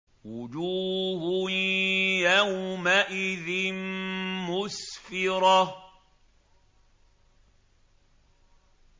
وُجُوهٌ يَوْمَئِذٍ مُّسْفِرَةٌ